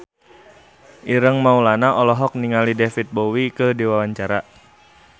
Ireng Maulana olohok ningali David Bowie keur diwawancara